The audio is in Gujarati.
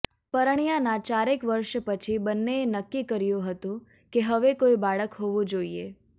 પરણ્યાનાં ચારેક વર્ષ પછી બંનેએ નક્કી કર્યું હતું કે હવે કોઈ બાળક હોવું જોઈએ